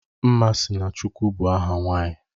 Nmasinachukwu bụ aha nwanyị